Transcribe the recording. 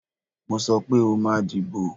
Mo sọ pé o máa dìbò